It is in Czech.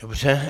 Dobře.